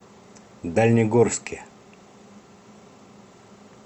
дальнегорске